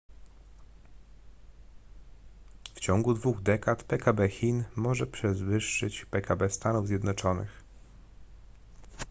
w ciągu dwóch dekad pkb chin może przewyższyć pkb stanów zjednoczonych